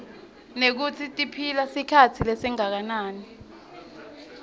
nekutsi tiphila sikhatsi lesinganani